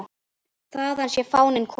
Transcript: Þaðan sé fáninn kominn.